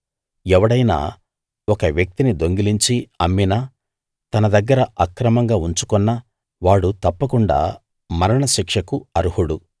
ఎవడైనా ఒక వ్యక్తిని దొంగిలించి అమ్మినా తన దగ్గర అక్రమంగా ఉంచుకొన్నా వాడు తప్పకుండా మరణశిక్షకు అర్హుడు